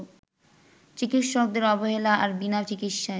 চিকিৎসকদের অবহেলা আর বিনা চিকিৎসায়